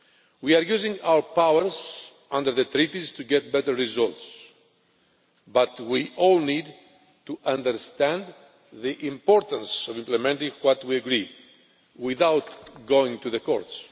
We are using our powers under the Treaties to get better results, but we all need to understand the importance of implementing what we agree, without going to the courts.